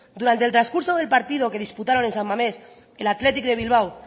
durante el transcurso del partido que disputados en san mamés el athletic de bilbao